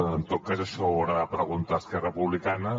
en tot cas això ho haurà de preguntar a esquerra republicana